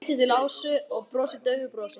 Hann lítur til Ásu og brosir daufu brosi.